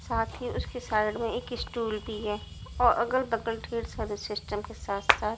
साथ ही उसके साइड में एक स्टूल भी है और अगल-बगल ढेर सारे सिस्टम के साथ-साथ--